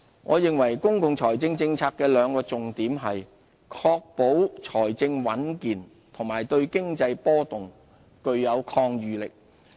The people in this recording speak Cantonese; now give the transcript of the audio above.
我認為公共財政政策的兩個重點是：確保財政穩健及對經濟波動具有抗禦能力。